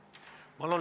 Palun!